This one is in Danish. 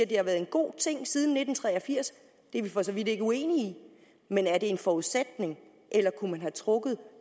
det har været en god ting siden nitten tre og firs det er vi for så vidt ikke uenige i men er det en forudsætning eller kunne man have trukket